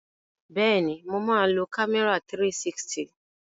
Bẹ́ẹ̀ni, mo máa lo kámẹ́rà 360.